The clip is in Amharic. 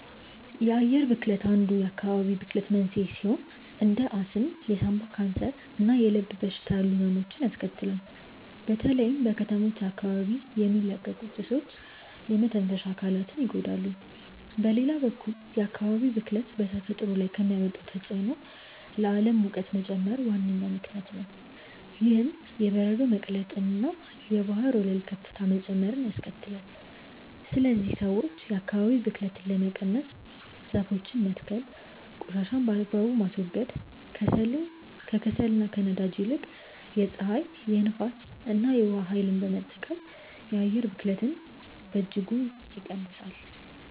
የአየር ብክለት አንዱ የአካባቢ ብክለት መንስኤ ሲሆን እንደ አስም፣ የሳምባ ካንሰር እና የልብ በሽታ ያሉ ህመሞችን ያስከትላል። በተለይም በከተሞች አካባቢ የሚለቀቁ ጭሶች የመተንፈሻ አካላትን ይጎዳሉ። በሌላ በኩል የአካባቢ ብክለት በተፈጥሮ ላይ ከሚያመጣው ተጽዕኖ ለዓለም ሙቀት መጨመር ዋነኛ ምክንያት ነው። ይህም የበረዶ መቅለጥንና የባህር ወለል ከፍታ መጨመርን ያስከትላል። ስለዚህ ሰዎች የአካባቢን ብክለት ለመቀነስ ዛፎችን መትከል ቆሻሻን በአግባቡ ማስወገድ፣ ከከሰልና ከነዳጅ ይልቅ የፀሐይ፣ የንፋስ እና የውሃ ኃይልን መጠቀም የአየር ብክለትን በእጅጉ ይቀንሳል።